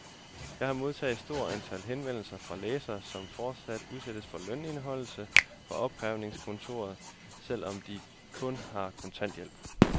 Jeg har modtaget et stort antal henvendelser fra læsere, som fortsat udsættes for lønindeholdelse fra opkrævningskontoret, selv om de kun har kontanthjælp.